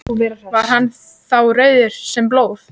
Var hann þá rauður sem blóð.